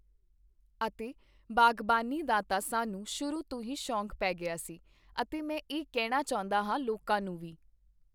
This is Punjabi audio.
ਅਤੇ ਬਾਗਬਾਨੀ ਦਾ ਤਾਂ ਸਾਨੂੰ ਸ਼ੁਰੂ ਤੋਂ ਹੀ ਸ਼ੌਕ ਪੇ ਗਿਆ ਸੀ ਅਤੇ ਮੈਂ ਇਹ ਕਹਿਣਾ ਚਾਹੁੰਦਾ ਹਾਂ ਲੋਕਾਂ ਨੂੰ ਵੀ